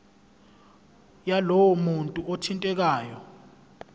yalowo muntu othintekayo